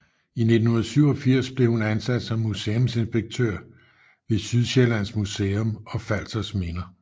I 1987 blev hun ansat som museumsinspektør ved Sydsjællands Museum og Falsters Minder